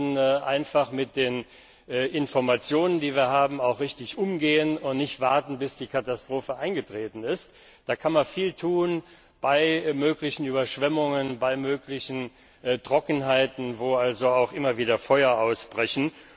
Wir müssen mit den Informationen, die wir haben, richtig umgehen und dürfen nicht warten, bis die Katastrophe eingetreten ist. Da kann man viel tun bei möglichen Überschwemmungen, bei möglichen Trockenheiten, wo auch immer wieder Feuer ausbrechen.